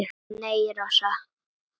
Nei, Rósa.